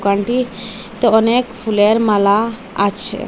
দোকানটি তে অনেক ফুলের মালা আছে।